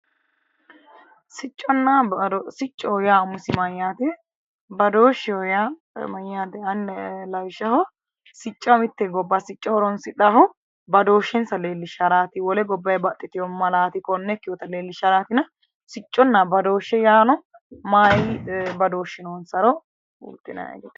Sicconna badooshshe, badooshshe yaa mite gobba sicco horonsidhanohu badooshshensa leellisharati wole gobbanni baxxitino maalati konne ikkinottanna sicconna badooshshe maayi badooshshi noonsaro lainani